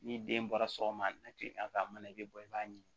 Ni den bɔra sɔgɔma na kilegan fɛ a mana i bɛ bɔ i b'a ɲi